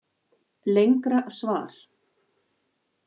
Lengra svar